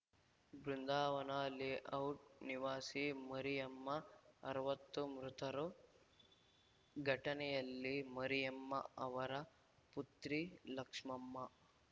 ಬೃಂದಾವನ layout ನಿವಾಸಿ ಮರಿಯಮ್ಮ ಅರವತ್ತು ಮೃತರು ಘಟನೆಯಲ್ಲಿ ಮರಿಯಮ್ಮ ಅವರ ಪುತ್ರಿ ಲಕ್ಷ್ಮಮ್ಮ